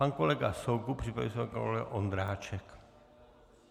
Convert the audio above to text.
Pan kolega Soukup, připraví se pan kolega Ondráček.